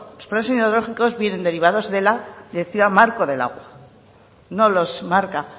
los planes hidrológicos vienen derivador de la directiva marco del agua no los marca